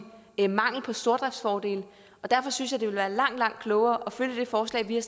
i mangel på stordriftsfordele derfor synes jeg det ville være langt langt klogere at følge det forslag vi har